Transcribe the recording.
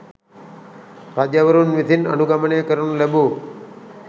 රජවරුන් විසින් අනුගමනය කරනු ලැබූ